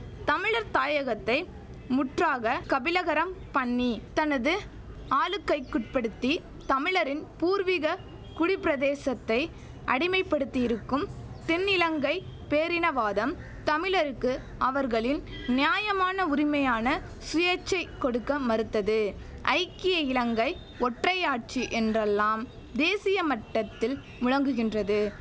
தமிழர் தாயகத்தை முற்றாக கபிளகரம் பண்ணி தனது ஆளுக்கைக்குட்படுத்தி தமிழரின் பூர்வீக குடிப்பிரதேசத்தை அடிமைப்படுத்தியிருக்கும் தென்னிலங்கை பேரினவாதம் தமிழருக்கு அவர்களின் நியாயமான உரிமையான சுயேட்சை கொடுக்க மறுத்தது ஐக்கிய இலங்கை ஒற்றையாட்சி என்றெல்லாம் தேசிய மட்டத்தில் முழங்குகின்றது